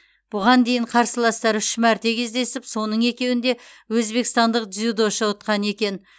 бұған дейін қарсыластар үш мәрте кездесіп соның екеуінде өзбекстандық дзюдошы ұтқан екен